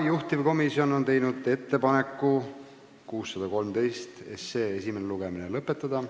Juhtivkomisjon on teinud ettepaneku eelnõu 613 esimene lugemine lõpetada.